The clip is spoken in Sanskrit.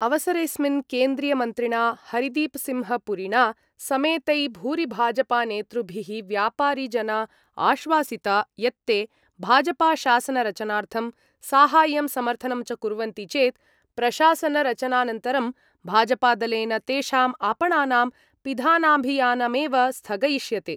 अवसरेस्मिन् केन्द्रीयमन्त्रिणा हरदीपसिंहपुरिणा समेतै भूरिभाजपानेतृभिः व्यापारिजना आश्वासिता यत्ते भाजपाशासनरचनार्थं साहाय्यं समर्थनं च कुर्वन्ति चेत् प्रशासनरचनानन्तरं भाजपादलेन तेषाम् आपणानां पिधानाभियानमेव स्थगयिष्यते।